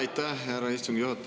Aitäh, härra istungi juhataja!